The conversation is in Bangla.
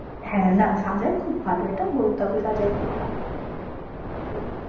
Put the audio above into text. হ্যাঁ, না সাজায়ে খুব ভালো, এটা বলতে হবে সাজায়ে খুব ভালো সেই